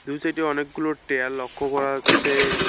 দুই সাইডে অনেকগুলো টেয়ার লক্ষ্য করা হচ্ছে।